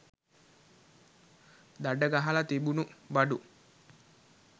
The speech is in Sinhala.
දඩ ගහල තිබුණු බඩු